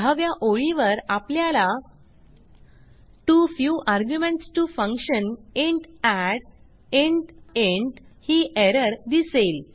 दहाव्या ओळीवर आपल्याला too few arguments to function int add int int ही एरर दिसेल